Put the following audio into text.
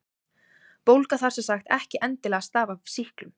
Bólga þarf sem sagt ekki endilega að stafa af sýklum.